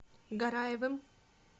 гараевым